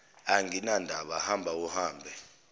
anginandaba hamba ahambe